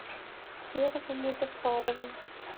серого музафарова